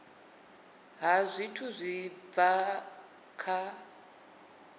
ha zwithu zwi bva kha